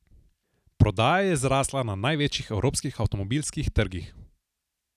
Prodaja je zrasla na največjih evropskih avtomobilskih trgih.